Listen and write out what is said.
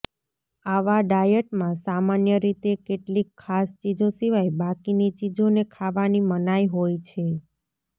આવા ડાયટમાં સામાન્ય રીતે કેટલીક ખાસ ચીજો સિવાય બાકીની ચીજોને ખાવાની મનાઇ હોય છે